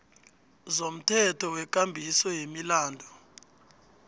zomthetho wekambiso yemilandu